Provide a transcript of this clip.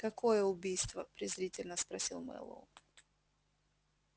какое убийство презрительно спросил мэллоу